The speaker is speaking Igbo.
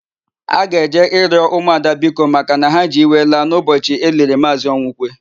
A ga-eje ịrịọ ụmụada biko makana ha ji iwe laa n'ụbọchị e liri Maazị Ọnwụkwe.